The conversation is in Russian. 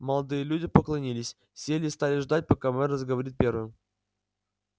молодые люди поклонилась сели и стали ждать пока мэр заговорит первым